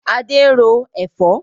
Adé ń ro Ẹ̀fọ́